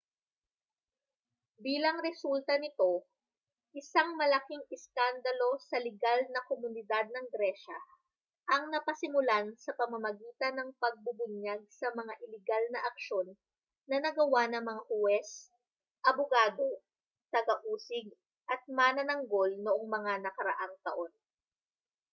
bilang resulta nito isang malaking iskandalo sa ligal na komunidad ng gresya ang napasimulan sa pamamagitan ng pagbubunyag sa mga iligal na aksyon na nagawa ng mga huwes abogado taga-usig at manananggol noong mga nakaraang taon